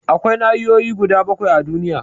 Akwai nahiyoyi guda bakwai a duniya